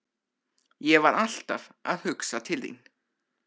Ég var alltaf að hugsa til þín.